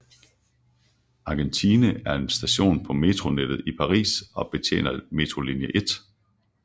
Argentine er en station på metronettet i Paris og betjener metrolinje 1